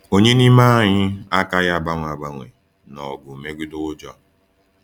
Ònye n’ime anyị akaghị agbanwe agbanwe n’ọgụ megide ụjọ?